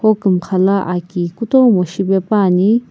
hokumxa la aki kutomo shipepuani.